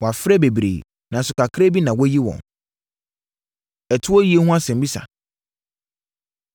“Wɔafrɛ bebree, nanso kakra bi na wɔayi wɔn.” Ɛtoɔ Yie Ho Asɛmmisa